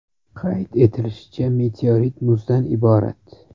Qayd etilishicha, meteorit muzdan iborat.